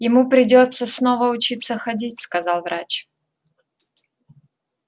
ему придётся снова учиться ходить сказал врач